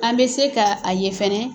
An bɛ se ka a ye fana.